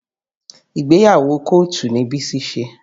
Ìgbéyàwó kọ́ọ̀tù ni Bísí ṣe